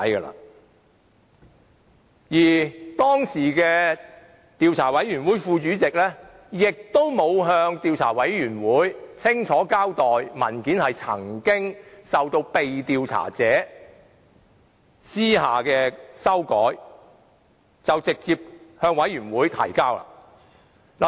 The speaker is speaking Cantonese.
此外，當時的專責委員會副主席亦沒有向專責委員會清楚交代被調查者曾私下修改文件，便直接把文件提交專責委員會。